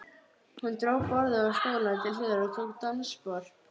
Hún dró borðið og stólana til hliðar og tók dansspor.